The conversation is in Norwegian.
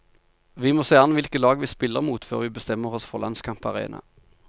Vi må se an hvilke lag vi spiller mot før vi bestemmer oss for landskamparena.